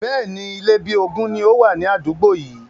Bẹ́ẹ̀ni, Ilé bí ogún ni ó wà ní àdúgbò yii